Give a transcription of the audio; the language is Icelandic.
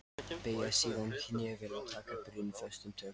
Beygja síðan hné vel og taka byrðina föstum tökum.